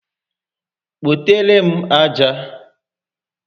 Kpotere m aja!